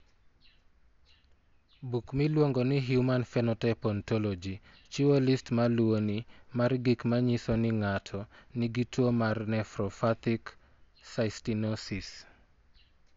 Buk miluongo ni Human Phenotype Ontology chiwo list ma luwoni mar gik ma nyiso ni ng'ato nigi tuo mar Nephropathic cystinosis.